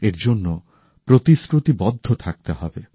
এরজন্য প্রতিশ্রুতিবদ্ধ থাকতে হবে